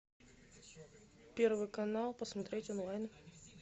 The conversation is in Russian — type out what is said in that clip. первый канал посмотреть онлайн